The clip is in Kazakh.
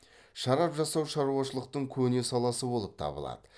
шарап жасау шаруашылықтың көне саласы болып табылады